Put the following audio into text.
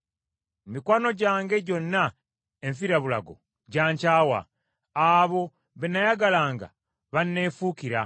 Mikwano gyange gyonna enfirabulago gya nkyawa; abo be nnayagalanga banneefuukira.